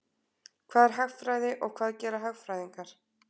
Hvað er hagfræði og hvað gera hagfræðingar?